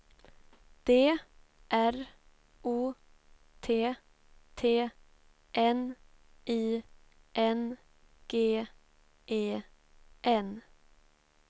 D R O T T N I N G E N